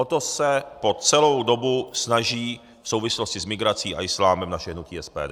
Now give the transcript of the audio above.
O to se po celou dobu snaží v souvislosti s migrací a islámem naše hnutí SPD.